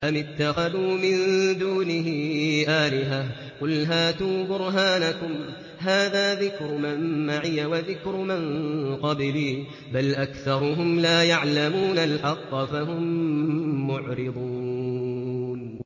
أَمِ اتَّخَذُوا مِن دُونِهِ آلِهَةً ۖ قُلْ هَاتُوا بُرْهَانَكُمْ ۖ هَٰذَا ذِكْرُ مَن مَّعِيَ وَذِكْرُ مَن قَبْلِي ۗ بَلْ أَكْثَرُهُمْ لَا يَعْلَمُونَ الْحَقَّ ۖ فَهُم مُّعْرِضُونَ